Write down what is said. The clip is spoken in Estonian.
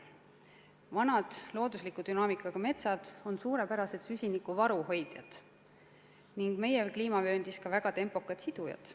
Vanad loodusliku dünaamikaga metsad on suurepärased süsinikuvaru hoidjad ning meie kliimavööndis ka selle väga tempokad sidujad.